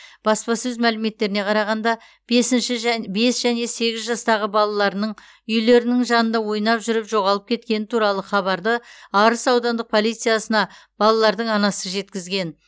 баспасөз мәліметтеріне қарағана бесінші жә бес және сегіз жастағы балаларының үйлерінің жанында ойнап жүріп жоғалып кеткені туралы хабарды арыс аудандық полициясына балалардың анасы жеткізген